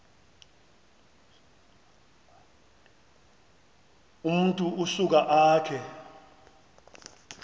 umntu usuka akhe